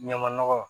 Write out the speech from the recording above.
Ɲama nɔgɔ